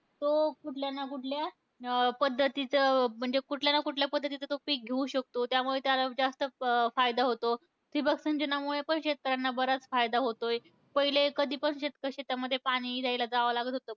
तो कुठल्या ना कुठल्या, अं पद्धतीचं म्हणजे कुठल्याना कुठल्या पद्धतीचं तो पिक घेऊ शकतो, त्यामुळे त्याला जास्त फा फायदा होतो. ठिबक सिंचनामुळे पण शेतकऱ्यांना बराच फायदा होतोय. पहिले कधीपण शेतक शेतामध्ये पाणी द्यायला जावं लागत होतं.